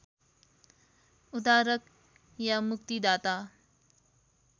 उद्धारक या मुक्तिदाता